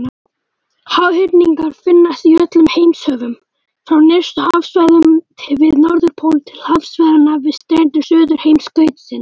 Háhyrningar finnast í öllum heimshöfum, frá nyrstu hafsvæðunum við Norðurpól til hafsvæðanna við strendur Suðurheimskautsins.